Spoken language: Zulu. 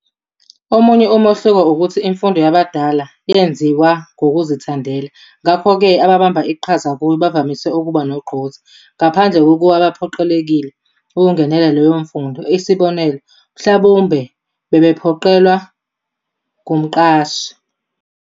Omunye umehluko, ukuthi imfundo yabadala yenziwa ngokuzithandela, ngakho-ke abababamba iqhaza kuyo bavamise ukuba nogqozi, ngaphandle kokuba bephoqelekile ukungenela leyo mfundo, isibonelo, mhlawumbe bephoqelelwa ngumqashi.